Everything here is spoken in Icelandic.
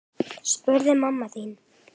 spurði mamma þín.